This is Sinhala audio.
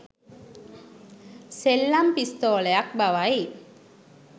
සෙල්ලම් පිස්තෝලයක් බවයි